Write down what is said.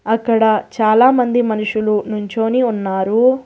అక్కడ చాలామంది మనుషులు నుంచొని ఉన్నారు.